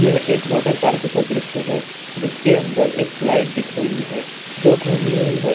यह एक water park का दृश्य है जिसके अंदर एक स्लाइड दिख रही है जो घूमी हुई है।